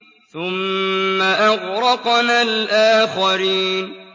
ثُمَّ أَغْرَقْنَا الْآخَرِينَ